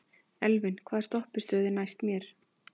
Elvin, hvaða stoppistöð er næst mér?